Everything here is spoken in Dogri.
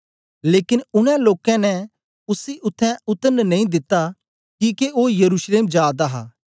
लेकन उनै लोकें ने उसी उत्थें उतरन नेई दिता किके ओ यरूशलेम जा दा हा